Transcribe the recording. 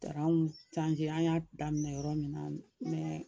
Taara anw an y'a daminɛ yɔrɔ min na mɛ